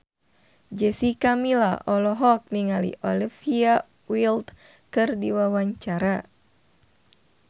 Jessica Milla olohok ningali Olivia Wilde keur diwawancara